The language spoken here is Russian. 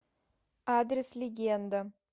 адрес легенда